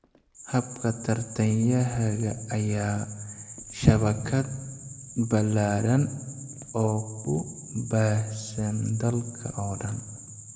"Habka tartankayaga ayaa ah shabakad ballaadhan oo ku baahsan dalka oo dhan.